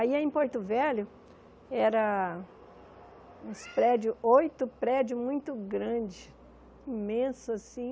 Aí, a em Porto Velho, eram uns prédios, oito prédios muito grandes, imensos assim.